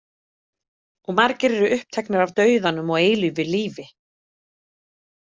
Og margir eru uppteknir af dauðanum og eilífu lífi.